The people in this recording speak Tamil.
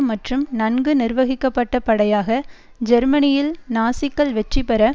மற்றும் நன்கு நிர்வகிக்கப்பட்ட படையாக ஜெர்மனியில் நாசிக்கள் வெற்றி பெற